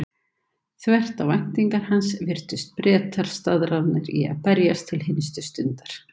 Þvert á væntingar hans virtust Bretar staðráðnir í að berjast til hinstu stundar.